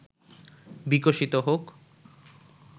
বিকশিত হোক